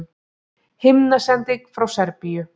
Himnasending frá Serbíu